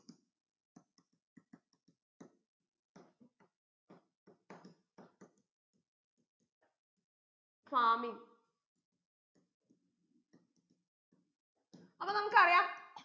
farming അപ്പൊ നമുക്കറിയാം